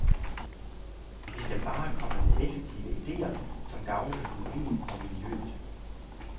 Vi skal bare komme med effektive idéer, som gavner økonomien og miljøet.